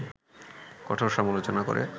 কঠোর সমালোচনা করে